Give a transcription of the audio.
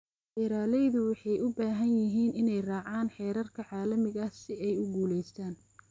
Beeralaydu waxay u baahan yihiin inay raacaan heerarka caalamiga ah si ay u guulaystaan.